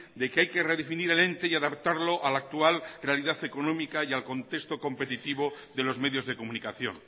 de que hay que redefinir el ente y adaptarlo a la actual realidad económica y al contexto competitivo de los medios de comunicación